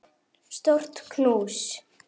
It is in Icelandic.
Stórt knús.